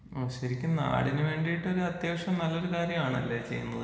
ശരിക്കും നാടിന്ന് വേണ്ടിട്ട് അത്യാവശ്യം നല്ലൊരു കാര്യമാണല്ലേ ചെയ്യുന്നത്?